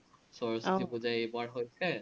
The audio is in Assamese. পুজা এইবাৰ হৈছে